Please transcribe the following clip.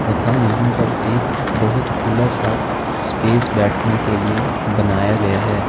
तथा यहां पर एक बहुत खुला सा स्पेस बैठने के लिए बनाया गया है।